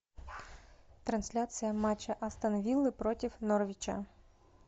трансляция матча астон виллы против норвича